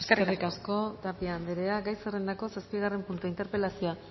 eskerrik asko eskerrik asko tapia anderea gai zerrendako zazpigarren puntua interpelazioa